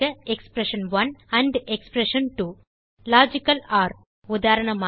expression one amp amp expression two logical or உதாரணமாக